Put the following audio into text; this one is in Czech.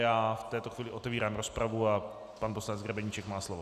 Já v této chvíli otevírám rozpravu a pan poslanec Grebeníček má slovo.